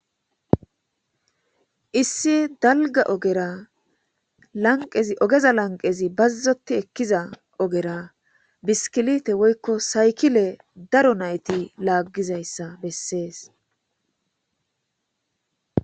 Issi dalga ogera lanqezi ogeza lanqezi bazzoti ekkiza ogera biskilite woykko saykile daro nayti laaggizayssa bessees.